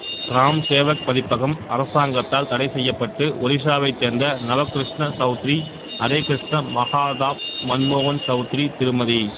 gram Sevak பதிப்பகம் அரசாங்கத்தால் தடைசெய்யப்பட்டு ஒரிசாவைச் சேர்ந்த நபக்ருஷ்ண சவுத்ரி ஹரேக்ருஷ்ணா மகாதாப் மன்மோகன் சவுத்ரி திருமதி